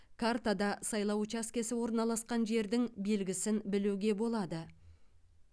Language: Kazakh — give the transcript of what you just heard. картада сайлау учаскесі орналасқан жердің белгісін білуге болады